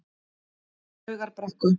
Laugarbrekku